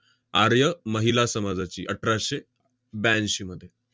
आर्य महिला समाजाची, अठराशे ब्याऐंशीमध्ये.